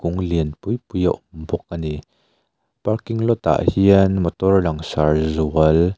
mu lian pui pui a awm bawk a ni parking lot ah hian motor langsar zual--